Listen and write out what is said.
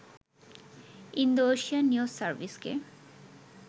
Indo-Asian news সার্ভিসকে